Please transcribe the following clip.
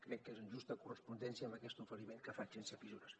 crec que és en justa correspondència amb aquest oferiment que faig sense fissures